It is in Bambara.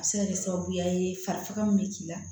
A bɛ se ka kɛ sababuya ye farika min bɛ k'i la